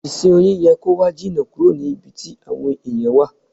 Ìsìn Oyin yẹ kó wà jìnà kúrò ní ibi tí àwọn ẹ̀yàn wà.